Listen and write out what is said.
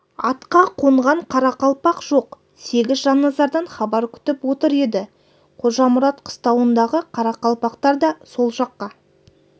атқа қонған қарақалпақ жоқ сегіз жанназардан хабар күтіп отыр еді қожамұрат қыстауындағы қарақалпақтар да сол жаққа